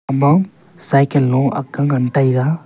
ama cycle lo akk ga ngan tega.